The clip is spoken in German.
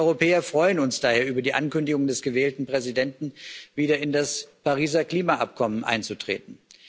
Wir Europäer freuen uns daher über die Ankündigung des gewählten Präsidenten, wieder in das Pariser Klimaabkommen einzutreten.